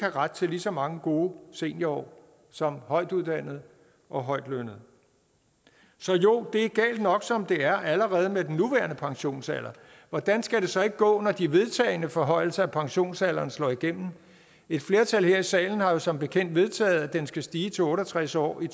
ret til lige så mange gode seniorår som højtuddannede og højtlønnede så jo det er galt nok som det er allerede med den nuværende pensionsalder hvordan skal det så ikke gå når de vedtagne forhøjelser af pensionsalderen slår igennem et flertal her i salen har jo som bekendt vedtaget at den skal stige til otte og tres år i